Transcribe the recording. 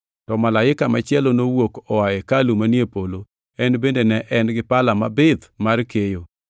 To malaika machielo nowuok oa e hekalu manie polo, en bende ne en gi pala mabith mar keyo.